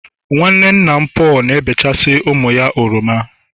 nwanne nna Paul na-ebechasị ụmụ ya oroma